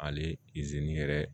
Ale yɛrɛ